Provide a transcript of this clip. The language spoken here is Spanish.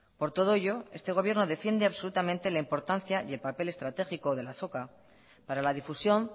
por todo ello este gobierno defiende absolutamente la importancia y el papel estratégico de la azoka para la difusión